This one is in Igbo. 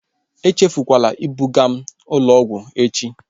Echefukwala ibuga m ụlọ ọgwụ echi!